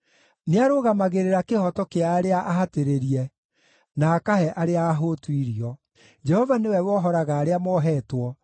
Nĩarũgamagĩrĩra kĩhooto kĩa arĩa ahatĩrĩrie, na akahe arĩa ahũtu irio. Jehova nĩwe wohoraga arĩa mohetwo,